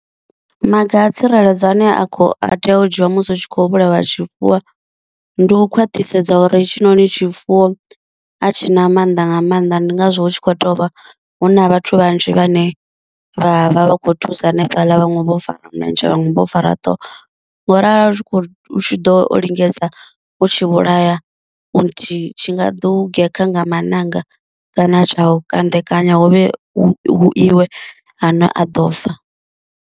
Maga a tsireledzo ane a kho a tea u dzhiwa musi hu tshi kho vhulawa tshifuwo, ndi u khwaṱhisedza uri hetshi noni tshifuwo a tshi na mannḓa nga maanḓa ndi ngazwo hu tshi khou tovha hu na vhathu vhanzhi vhane vha vha vha kho thusa hanefhaḽa vhaṅwe vho fara milenzhe vhaṅwe vho fara ṱhoho, ngo ralo hu tshi kho hu tshi ḓo o lingedza u tshi vhulaya u nthihi tshi nga ḓo gekha nga maṋanga kana tsha u kandekanya huvhe hu iwe ha ane a ḓo fa.